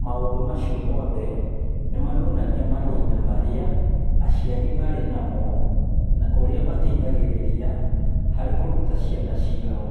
Maũndũ macio mothe nĩ maronania mahinda marĩa aciari marĩ namo, na ũrĩa mateithagĩrĩria harĩ kũruta ciana ciao.